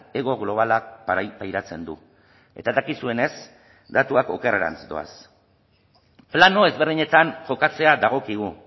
hego globalak pairatzen du eta dakizuenez datuak okerrerantz doaz plano ezberdinetan jokatzea dagokigu